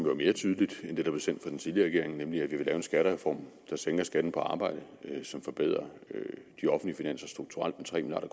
jo er mere tydeligt end det der blev sendt fra den tidligere regering nemlig at vi vil lave en skattereform der sænker skatten på arbejde og som forbedrer de offentlige finanser strukturelt med